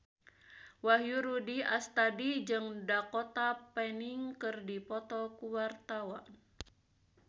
Wahyu Rudi Astadi jeung Dakota Fanning keur dipoto ku wartawan